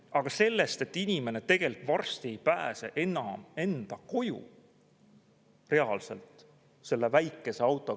Aga inimene tegelikult varsti reaalselt ei pääse enam enda koju selle väikese autoga.